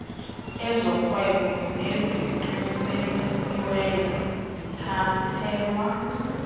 ezorhwebo neziqinisekisiweyo zithathelwa